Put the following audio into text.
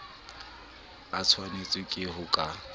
a tshwanetswe ke ho ka